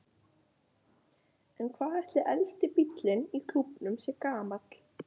En hvað ætli elsti bíllinn í klúbbnum sé gamall?